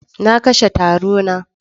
Na kashe taro na.